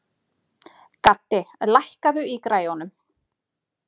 Gaddi, lækkaðu í græjunum.